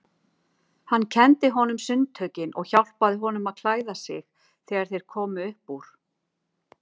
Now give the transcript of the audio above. Hann kenndi honum sundtökin og hjálpaði honum að klæða sig þegar þeir komu upp úr.